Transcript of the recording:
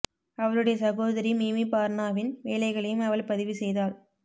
அவளுடைய சகோதரி மிமி பார்னாவின் வேலைகளையும் அவள் பதிவு செய்தாள்